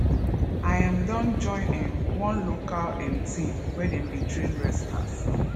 i um don join um one local um team where dem dey train wrestlers